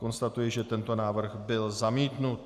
Konstatuji, že tento návrh byl zamítnut.